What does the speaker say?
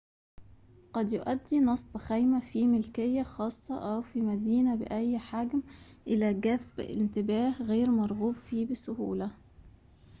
قد يؤدي نصب خيمة في ملكية خاصة أو في مدينة بأي حجم إلى جذب انتباه غير مرغوب فيه بسهولة